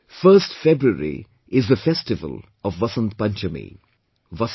1st February is the festival of Vasant Panchami